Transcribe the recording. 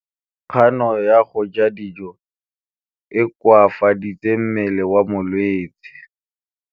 Kganô ya go ja dijo e koafaditse mmele wa molwetse.